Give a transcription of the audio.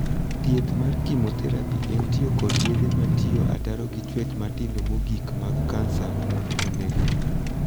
Thieth mar 'chemotherapy' en tiyo kod yedhe matiyo ataro gi chuech matindo mogikmag kansa mondo oneggi.